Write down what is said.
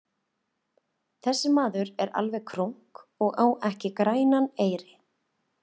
Þessi maður er alveg krunk og á ekki grænan eyri.